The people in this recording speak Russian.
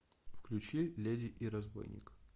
включи леди и разбойник